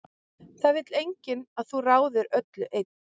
Það vill enginn að þú ráðir öllu einn.